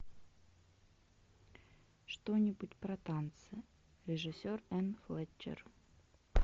что нибудь про танцы режиссер энн флетчер